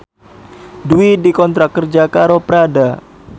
Dwi dikontrak kerja karo Prada